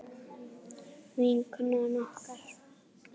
Vinkona okkar.